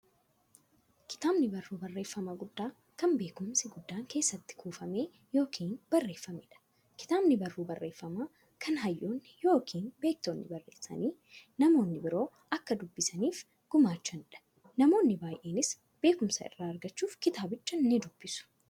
Kitaabni barruu barreeffamaa guddaa, kan beekumsi guddaan keessatti kuufame yookiin barreefameedha. Kitaabni barruu barreeffamaa, kan hayyoonni yookiin beektonni barreessanii, namni biroo akka dubbisaniif gumaachaniidha. Namoonni baay'eenis beekumsa irraa argachuuf kitaabicha nidubbisu.